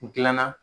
N gilan na